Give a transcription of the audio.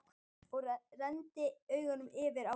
Og renndi augunum yfir á hópinn.